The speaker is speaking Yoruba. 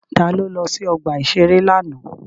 Ta ló lọ sí ọgbà-ìṣeré lánàá?